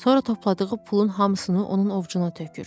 Sonra topladığı pulun hamısını onun ovucuna tökür.